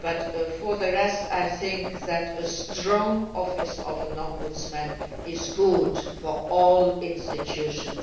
But for the rest, I think that a strong office of the Ombudsman is good for all institutions.